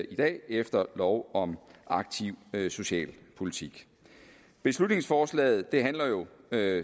i dag efter lov om aktiv socialpolitik beslutningsforslaget handler jo